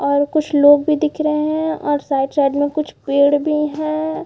और कुछ लोग भी दिख रहे है। और साइड साइड में कुछ पेड़ भी है।